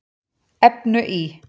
efnu í